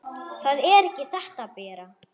Það er ekki þetta, Bera!